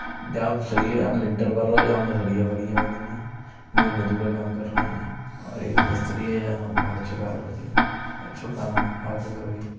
या में सरिये या में लिंटर भर रो है | या में सरिये फरिये भरी है | ये मजुरा काम कर रहे हैं और एक मिस्त्री है | यहां अच्छो काम कर रहे है आपो करवाइयो।